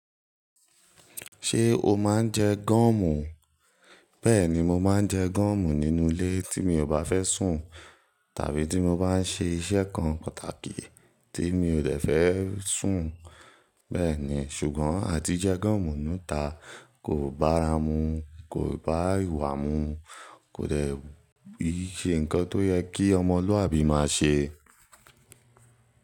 Ṣé o máa ń jẹ gúọ̀mù? Bẹ́ẹ̀ni, mo máa ń jẹ gọọ̀mù nínú ilé tí mi ò bá fẹ́ sùn tàbí tí mo bá ń ṣe iṣẹ́ kan pàtàkì tí mi o dẹ̀ fẹ́ sùn. Bẹ́ẹ̀ ni, ṣùgbọ́n àti jẹ gọọ̀mù nútá kò bá ramú, kò bá ìwà mú, kò dẹ̀ iṣẹ́ nǹkan tó yẹ kí ọmọlúàbí máa ṣe.